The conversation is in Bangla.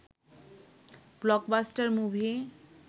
blockbuster movie